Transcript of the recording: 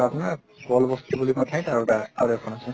আপনাৰ কল বস্তী বুলি এখন ঠাইত আৰু এটা আৰু এখন আছে